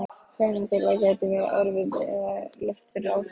Tjáning þeirra gæti verið örvuð eða lött fyrir áhrif umhverfisþátta.